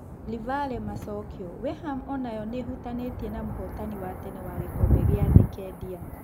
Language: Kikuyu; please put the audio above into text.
(Livale Macokio) Weham onayo nĩĩhutanĩtie na mũhotani wa tene wa gĩkombe gĩa thĩ Kendia.